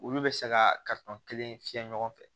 Olu bɛ se ka kelen fiyɛ ɲɔgɔn fɛ